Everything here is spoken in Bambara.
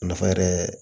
Nafa yɛrɛ